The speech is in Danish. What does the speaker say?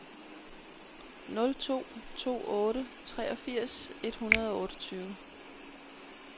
nul to to otte treogfirs et hundrede og otteogtyve